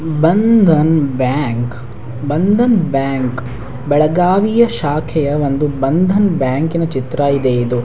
ಈ Bandhan Bank Bandhan Bank Belagavi ಶಾಖೆಯ ಒಂದು ಭಂದನ್ ಬ್ಯಾಂಕಿನ್ ಚಿತ್ರ ಇದೆ ಇದು.